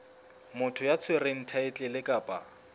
motho ya tshwereng thaetlele kapa